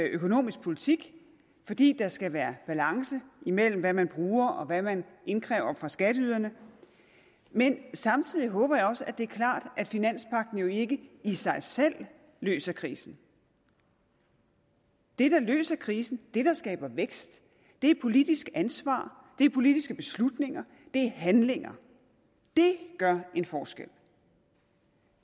økonomisk politik fordi der skal være balance mellem hvad man bruger og hvad man indkræver fra skatteyderne men samtidig håber jeg også at det er klart at finanspagten jo ikke i sig selv løser krisen det der løser krisen det der skaber vækst er politisk ansvar det er politiske beslutninger det er handlinger det gør en forskel